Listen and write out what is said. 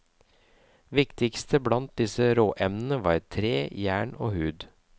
Viktigst blant disse råemnene var tre, jern og hud.